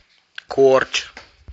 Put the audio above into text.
корч